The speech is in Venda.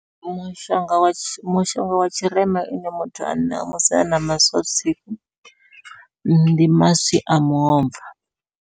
Mushonga wa mushonga wa tshirema ine muthu ana musi ana maswavhusiku ndi maswi a muomva.